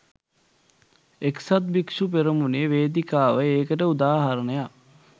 එක්සත් භික්‍ෂු පෙරමුණේ වේදිකාව ඒකට උදාහරණයක්